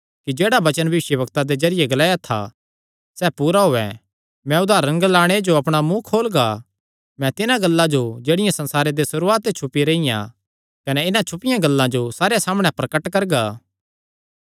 कि जेह्ड़ा वचन भविष्यवक्तां दे जरिये ग्लाया था सैह़ पूरा होएया मैं उदारण ग्लाणे जो अपणा मुँ खोलगा मैं तिन्हां गल्लां जो जेह्ड़ियां संसारे दे सुरुआत ते छुपी रेईयां कने इन्हां छुपियां गल्लां जो सारेयां सामणै प्रगट करगा